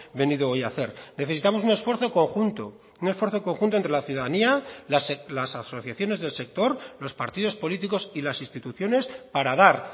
venido hoy a hacer necesitamos un esfuerzo conjunto un esfuerzo conjunto entre la ciudadanía las asociaciones del sector los partidos políticos y las instituciones para dar